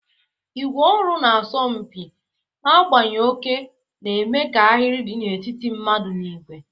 ígwè ọrụ na-asọ mpi, na-agbanye oke, na-eme ka ahịrị dị n'etiti mmadụ na igwe.